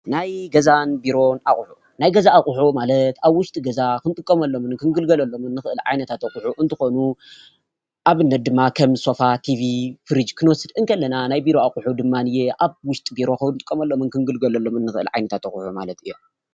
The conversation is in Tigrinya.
ናይ ገዛን ቢሮን ኣቁሑት፦ ናይ ገዛ ኣቁሑት ማለት ኣብ ውሽጢ ገዛ ክንጥቀመሎምን ክንግልገሎምን እንክእል ዓይነት ኣቁሑት እንትኮኑ ኣብነት ድማ ከም ሶፋ፣ ቲቨ፣ ፍርጅ ክንወስድ እንከለና። ናይ ቢሮ ኣቁሑት ድማ ኣብ ውሽጢ ቢሮ እንጥቀመሎም ክንግልገሎሎም ንክእል ዓይነት ኣቁሑት እዮም።